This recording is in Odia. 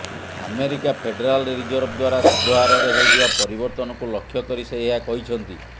ଆମେରିକା ଫେଡେରାଲ୍ ରିଜର୍ଭ ଦ୍ୱାରା ସୁଧ ହାରରେ ହେଉଥିବା ପରିବର୍ତ୍ତନକୁ ଲକ୍ଷ୍ୟ କରି ସେ ଏହା କହିଛନ୍ତି